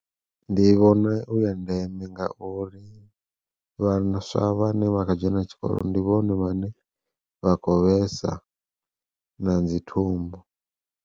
Ndi vhona u ya ndeme ngauri, vhaswa vhane vha kha dzhena tshikolo ndi vhone vhane vha khou vhesa na dzi thumbu.